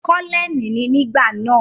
Kọ́lẹ́ẹ̀nì ni nígbà náà.